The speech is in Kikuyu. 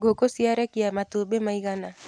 Ngũkũ ciarekia matumbĩ maigana.